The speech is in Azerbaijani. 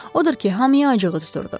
Odur ki, hamıya acığı tuturdu.